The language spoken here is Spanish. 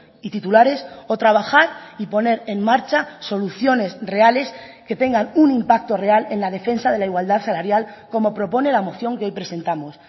y titulares o trabajar y poner en marcha soluciones reales que tengan un impacto real en la defensa de la igualdad salarial como propone la moción que hoy presentamos